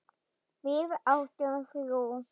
Við áttum þrjú.